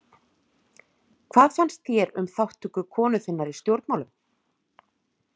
Hvað fannst þér um þátttöku konu þinnar í stjórnmálum?